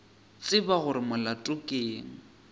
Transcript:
tseba gore molato ke eng